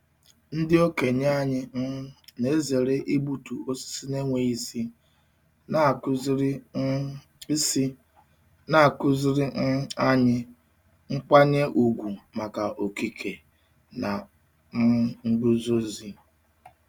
Ndị okenye anyị um na-ezere igbutu osisi na-enweghị isi, na-akụziri um isi, na-akụziri um anyị nkwanye ùgwù maka okike na um nguzozi.